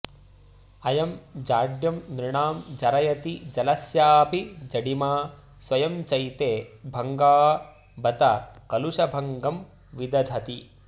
अयं जाड्यं नृणां जरयति जलस्यापि जडिमा स्वयं चैते भङ्गा बत कलुषभङ्गं विदधति